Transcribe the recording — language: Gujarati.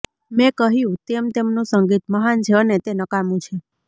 મેં કહ્યું તેમ તેમનું સંગીત મહાન છે અને તે નકામું છે